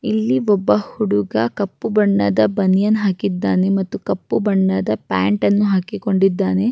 ಈ ಚಿತ್ರ ನೋಡಬಹುದಲ್ಲಿ ಇಲ್ಲಿ ಒಂದು ಜಿಮ್ ನೋಡುವುದಕ್ಕೆ ಸಿಗುತ್ತದೆ.